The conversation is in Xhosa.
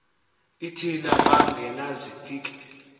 l thina bangenazitiki